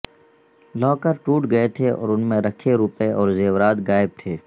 locker ٹوٹ گئے تھے اور ان میں رکھے روپئے اور زیورات غائب تھے